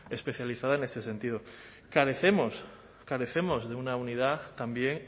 especializada en este sentido carecemos carecemos de una unidad también